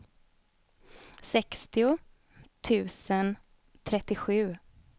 sextio tusen trettiosju